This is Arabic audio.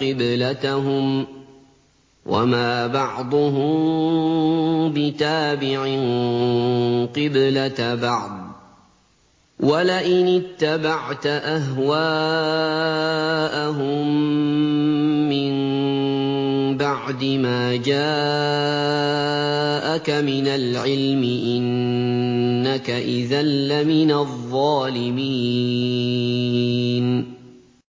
قِبْلَتَهُمْ ۚ وَمَا بَعْضُهُم بِتَابِعٍ قِبْلَةَ بَعْضٍ ۚ وَلَئِنِ اتَّبَعْتَ أَهْوَاءَهُم مِّن بَعْدِ مَا جَاءَكَ مِنَ الْعِلْمِ ۙ إِنَّكَ إِذًا لَّمِنَ الظَّالِمِينَ